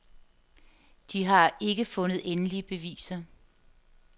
De har ikke fundet endelige beviser.